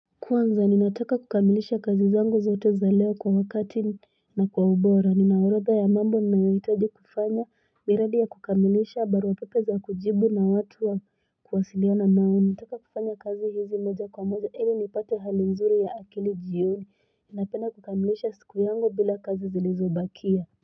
Kwanza ninataka kukamilisha kazi zangu zote za leo kwa wakati na kwa ubora ninaorodha ya mambo ninayoitaji kufanya miradi ya kukamilisha barua pepe za kujibu na watu wa kuwasiliana nao nataka kufanya kazi hizi moja kwa moja ili nipate hali nzuri ya akili jioni ninapenda kukamilisha siku yangu bila kazi zilizobakia.